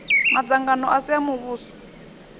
madzangano a si a muvhuso